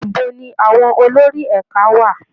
Ibo ni àwọn olórí ẹ̀ka wà?